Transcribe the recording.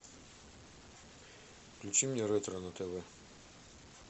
включи мне ретро на тв